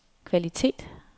kvalitet